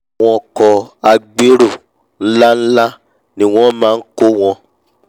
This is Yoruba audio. àwọn ọkọ̀ agbérò nlá nlá ni wọ́n máa nkó àwọn